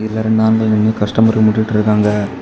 இங்க ரெண்டு ஆம்பளைங்களும் கஸ்டமரு நின்னுட்டு இருக்காங்க.